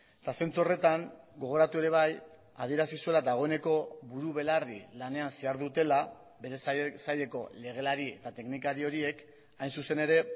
eta zentzu horretan gogoratu ere bai adierazi zuela dagoeneko buru belarri lanean zihardutela bere saileko legelari eta teknikari horiek hain zuzen ere